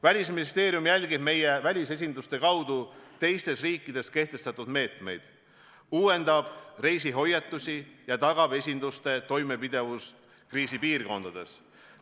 Välisministeerium jälgib meie välisesinduste kaudu teistes riikides kehtestatud meetmeid, uuendab reisihoiatusi ja tagab esinduste toimepidevuse kriisipiirkondades.